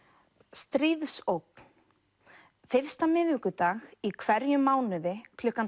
stríðsógn fyrsta miðvikudag í hverjum mánuði klukkan